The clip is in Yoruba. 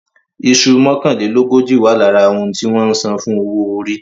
Iṣu mọ́kànlélógójì wà lára ohun tí wọ́n san fún owó orí.